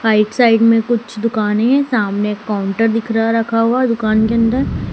right side में कुछ दुकाने है सामने एक काउंटर दिख रहा रखा हुआ दुकान के अंदर--